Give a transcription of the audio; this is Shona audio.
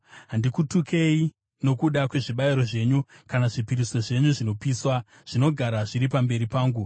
Handikutukei nokuda kwezvibayiro zvenyu, kana zvipiriso zvenyu zvinopiswa, zvinogara zviri pamberi pangu.